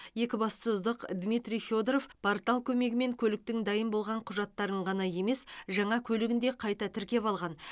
екібастұздық дмитрий федоров портал көмегімен көліктің дайын болған құжаттарын ғана емес жаңа көлігін де қайта тіркеп алған